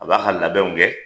A b'a ka labɛnw kɛ